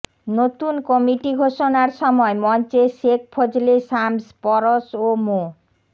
নতুন কমিটি ঘোষণার সময় মঞ্চে শেখ ফজলে শামস পরশ ও মো